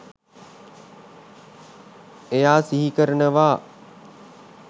එයා සිහිකරනවා